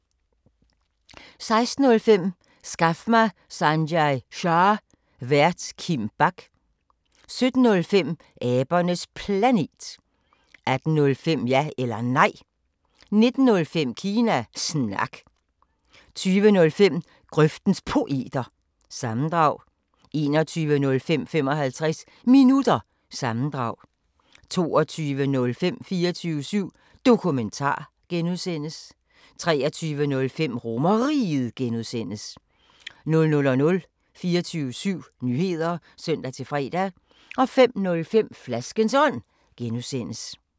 16:05: Skaf mig Sanjay Shah! Vært: Kim Bach 17:05: Abernes Planet 18:05: Ja eller Nej 19:05: Kina Snak 20:05: Grøftens Poeter – sammendrag 21:05: 55 Minutter – sammendrag 22:05: 24syv Dokumentar (G) 23:05: RomerRiget (G) 00:00: 24syv Nyheder (søn-fre) 05:05: Flaskens Ånd (G)